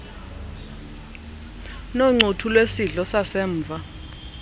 noncuthu lwesidlo sasemva